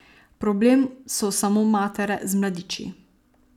Problem so samo matere z mladiči.